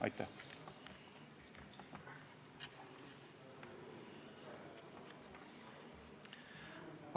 Aitäh!